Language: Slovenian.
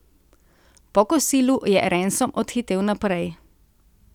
Po kosilu je Ransom odhitel naprej.